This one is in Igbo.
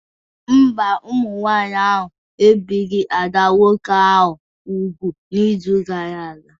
Mba, ndị inyom ahụ ebipụghị ada nwoke ahụ úgwù n'izu gara aga